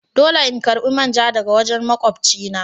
Dole in karba main ja daga wajen makwabci na.